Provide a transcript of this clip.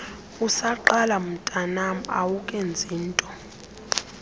usaqala mntwanam awukenzinto